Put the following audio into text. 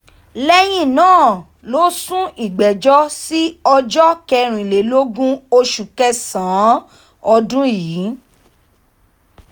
lẹ́yìn náà ló sún ìgbẹ́jọ́ sí ọjọ́ kẹrìnlélógún oṣù kẹsàn-án ọdún yìí